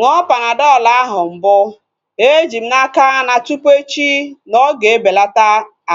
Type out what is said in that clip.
Ṅụọ Panadọl ahu mbụ. Eji m n'aka na tụpụ echi na-ọga ebelata